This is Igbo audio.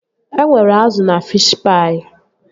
E nwere azụ na fishi paị